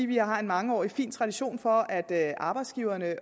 vi har en mangeårig fin tradition for at arbejdsgiverne